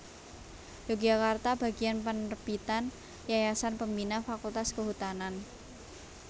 Yogyakarta Bagian Penerbitan Yayasan Pembina Fakultas Kehutanan